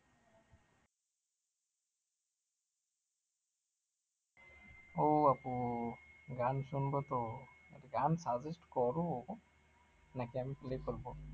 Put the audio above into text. ও আপু গান শুনবো তো, গান suggest করো নাকি আমি play করবো